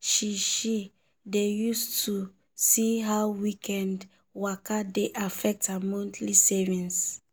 she she dey use to see how weekend waka dey affect her monthly savings.